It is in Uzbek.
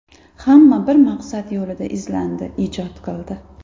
Hamma bir maqsad yo‘lida izlandi, ijod qildi.